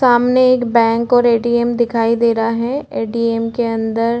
सामने एक बैंक और ऐ. टी. एम दिखाई दे रहा है ऐ. टी. एम के अन्दर--